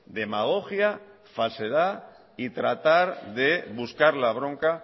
demagogia falsedad y tratar de buscar la bronca